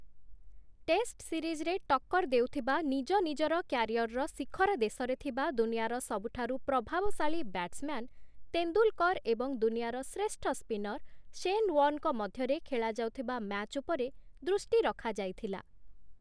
Test ସିରିଜ୍‌ରେ ଟକ୍କର ଦେଉଥିବା, ନିଜନିଜର କ୍ୟାରିଅର୍‌ର ଶିଖରଦେଶରେ ଥିବା ଦୁନିଆର ସବୁଠାରୁ ପ୍ରଭାବଶାଳୀ ବ୍ୟାଟ୍‌ସ୍‌ମ୍ୟାନ୍‌ ତେନ୍ଦୁଲ୍‌କର୍‌ ଏବଂ ଦୁନିଆର ଶ୍ରେଷ୍ଠ ସ୍ପିନର୍ ଶେନ୍‌ ୱାର୍ଣ୍ଣ୍‌ଙ୍କ ମଧ୍ୟରେ ଖେଳାଯାଉଥିବା ମ୍ୟାଚ୍ ଉପରେ ଦୃଷ୍ଟି ରଖା ଯାଇଥିଲା ।